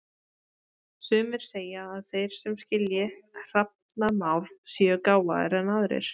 Sumir segja að þeir sem skilji hrafnamál séu gáfaðri en aðrir.